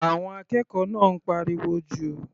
Àwọn akẹ́kọ̀ọ́ náà ń pariwo jù.